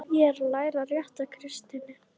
Ég er að læra rétta kristni.